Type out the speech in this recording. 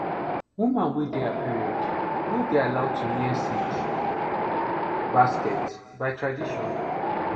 woman wey dey her period no dey allowed to near seed basket by tradition